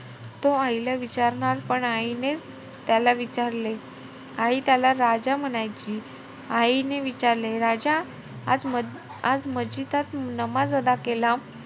तो आईला विचारणार, पण आईनेचं त्याला विचारले. आई त्याला राजा म्हणायची. आईने विचारले, राजा आज-आज मस्जिदच्या नमाज अदा केला,